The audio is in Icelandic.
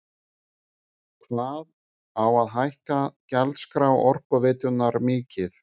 Hvað á að hækka gjaldskrá Orkuveitunnar mikið?